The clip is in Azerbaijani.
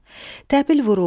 Təbil vuruldu.